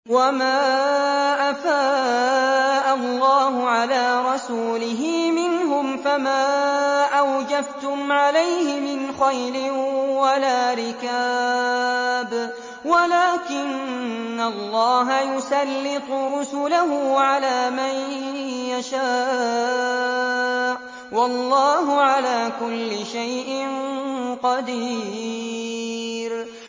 وَمَا أَفَاءَ اللَّهُ عَلَىٰ رَسُولِهِ مِنْهُمْ فَمَا أَوْجَفْتُمْ عَلَيْهِ مِنْ خَيْلٍ وَلَا رِكَابٍ وَلَٰكِنَّ اللَّهَ يُسَلِّطُ رُسُلَهُ عَلَىٰ مَن يَشَاءُ ۚ وَاللَّهُ عَلَىٰ كُلِّ شَيْءٍ قَدِيرٌ